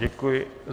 Děkuji.